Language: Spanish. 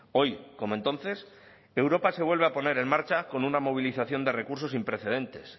hoy como entonces europa se vuelve a poner en marcha con una movilización de recursos sin precedentes